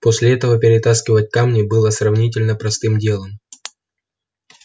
после этого перетаскивать камни было сравнительно простым делом